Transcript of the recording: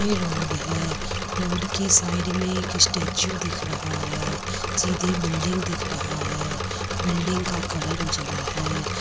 ये एक रोड है रोड के साइड में एक स्टैचू दिख रहा है सीधे बिल्डिंग दिख रहा है बिल्डिंग का कलर उजला है।